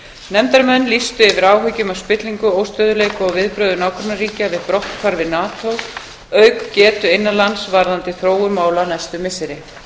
nefndarmenn lýstu yfir áhyggjum af spillingu óstöðugleika og viðbrögðum nágrannaríkja við brotthvarfi nato auk getu innan lands varðandi þróun mála næstu missiri